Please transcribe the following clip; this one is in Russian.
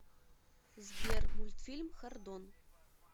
сбер мультфильм хордон